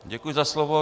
Děkuji za slovo.